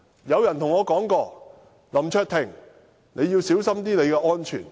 有人告訴我："林卓廷，你要小心你的安全。